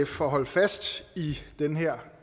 for at holde fast i den her